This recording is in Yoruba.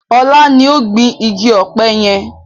Ọlá ni ó gbin igi ọpẹ yẹn